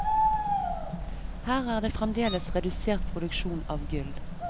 Her er det fremdeles redusert produksjon av gull.